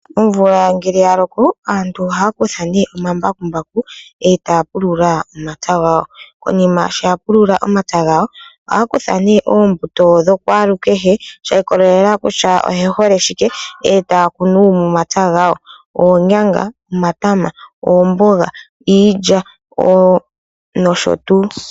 Omvula ngele ya loko aantu ohaya kutha ne omambakumbaku etaya pulula omapya gawo. Konima sho ya pulula omapya gawo ohaya kutha ne oombuto dha kwalukehe sha ikwatelela kutya oye hole shike etaya kunu momapya gawo oonyanga, omatama, iilya nosho tuu.